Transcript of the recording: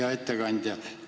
Hea ettekandja!